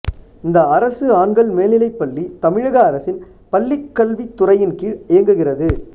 இந்த அரசு ஆண்கள் மேல்நிலைப்பள்ளி தமிழக அரசின் பள்ளிக்கல்வி துறையின் கீழ் இயங்குகிறது